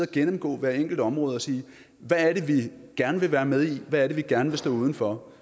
gennemgå hvert enkelt område og sige hvad er det vi gerne vil være med i og hvad er det vi gerne vil stå uden for